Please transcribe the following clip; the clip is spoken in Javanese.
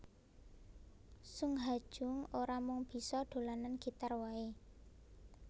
Sung Ha Jung ora mung bisa dolanan gitar waé